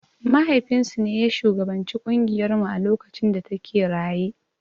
Mahaifin su ne ya shugabanci ƙungiyar mu a lokacin da ta ke raye.